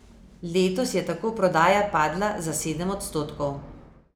Letos je tako prodaja padla za sedem odstotkov.